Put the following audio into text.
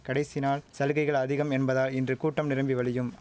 கடைசி நாள் சலுகைகள் அதிகம் என்பதால் இன்று கூட்டம் நிரம்பி வழியும்